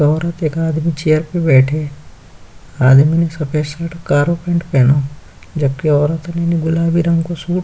एक औरत एक आदमी चेयर पे बैठे हैं। आदमी सफेद शर्ट कारो पैंट पहनो जबकि औरत गुलाबी रंग को सूट --